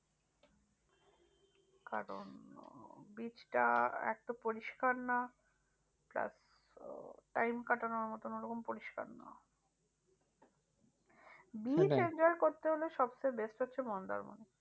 কারন beach টা একতো পরিষ্কার না। plustime কাটানোর মতো ওরকম পরিষ্কার না। beach enjoy করতে হলে সবচেয়ে best হচ্ছে মন্দারমণি।